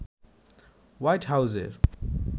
white হাউজের